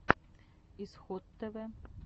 исход тв